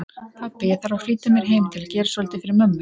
Pabbi, ég þarf að flýta mér heim til að gera svolítið fyrir mömmu